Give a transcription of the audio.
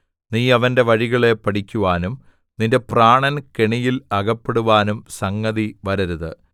നീ അവന്റെ വഴികളെ പഠിക്കുവാനും നിന്റെ പ്രാണൻ കെണിയിൽ അകപ്പെടുവാനും സംഗതിവരരുത്